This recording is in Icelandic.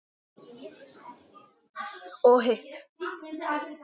Og hitt?